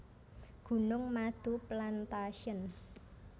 Gunung Madu Plantation